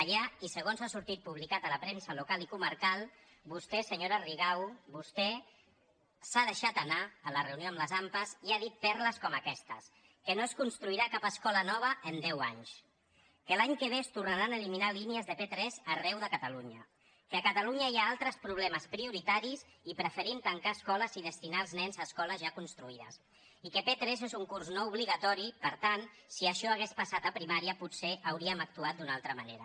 allà i segons ha sortit publicat a la premsa local i comarcal vostè senyora rigau vostè s’ha deixat anar a la reunió amb les ampa i ha dit perles com aquestes que no es construirà cap escola nova en deu anys que l’any que ve es tornaran a eliminar línies de p3 arreu de catalunya que a catalunya hi ha altres problemes prioritaris i preferim tancar escoles i destinar els nens a escoles ja construïdes i que p3 és un curs no obligatori per tant si això hagués passat a primària potser hauríem actuat d’una altra manera